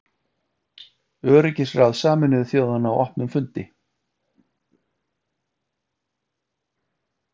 Öryggisráð Sameinuðu þjóðanna á opnum fundi.